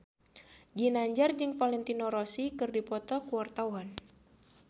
Ginanjar jeung Valentino Rossi keur dipoto ku wartawan